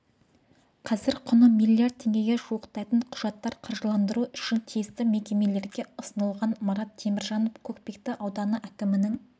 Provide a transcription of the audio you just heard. қазір құны миллиард теңгеге жуықтайтын құжаттар қаржыландыру үшін тиісті мекемелерге ұсынылған марат теміржанов көкпекті ауданы әкімінің